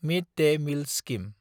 mid day meal scheme